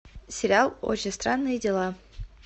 сериал очень странные дела